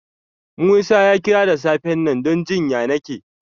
Musa ya kira da safen nan don jin ƴanake.